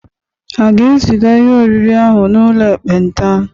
A ga-eziga ihe oriri ahụ n'ụlọ ekpenta?